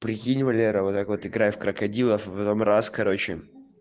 прикинь валера вот так вот играй в крокодилов а потом раз короче